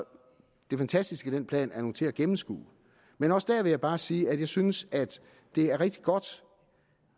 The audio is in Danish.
det fantastiske i den plan er nu til at gennemskue men også der vil jeg bare sige at jeg synes at det er rigtig godt